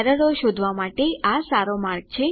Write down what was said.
ખાતરી કરી લો કે તમે સુધારાઓ માટે ઉમેદવારી નોંધાવી છે